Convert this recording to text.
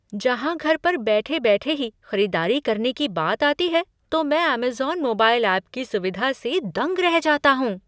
जहाँ घर पर बैठे बैठे ही खरीदारी करने की बात आती है तो मैं अमेज़न मोबाइल ऐप की सुविधा से दंग रह जाता हूँ।